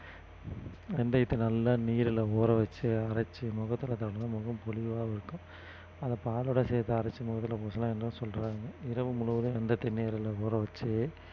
வெந்தயத்தை நல்லா நீர்ல ஊற வெச்சு அரைச்சு முகத்துல தடவினா முகம் பொலிவாவும் இருக்கும் அத பாலோட சேர்த்து அரைச்சு முகத்துல பூசுனா என்ன சொல்றாங்க இரவு முழுவதும் தண்ணீர்ல ஊற வெச்சு